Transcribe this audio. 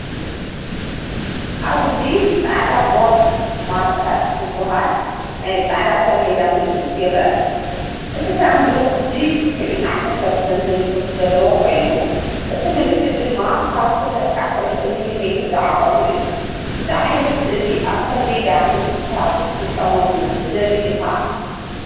ኣብዚ “ጻዕዳ ቦርድ ማርከር” ዝበሃል ናይ ጻዕዳ ሰሌዳ ምልክት ይርአ። እቲ ሳንዱቕ “G-213” ዝብል ጽሑፍ ዘለዎ ኮይኑ፡ እቲ ምልክት ድማ ካብ 2-3 ሚ.ሜ ዝዓቐኑ እዩ። እዚ ዓይነት ስእሊ ኣብ ሰሌዳ ምልክታ ክትጥቀመሉ ትደሊ ዲኻ?